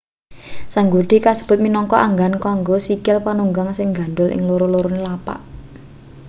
sanggurdi kasebut minangka anggan kanggo sikil panunggang sing nggandul ing loro-lorone lapak